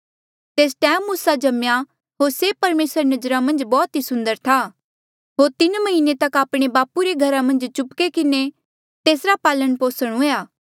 तेस टैम मूसा जम्मेया होर से परमेसरा री नजरा मन्झ बौह्त ई सुन्दर था होर तीन म्हीने तक आपणे बापू रे घरा मन्झ चुपके किन्हें तेसरा पालन पोसण हुएया